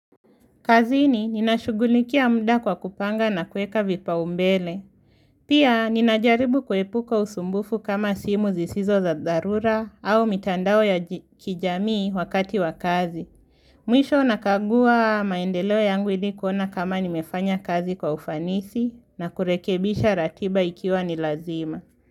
Kazini nina shugulikia mda kwa kupanga na kuweka vipaumbele. Pia ninajaribu kuepuka usumbufu kama simu zisizo za dharura au mitandao ya kijamii wakati wa kazi. Mwisho nakagua maendeleo yangu ili kuona kama nimefanya kazi kwa ufanisi na kurekebisha ratiba ikiwa ni lazima.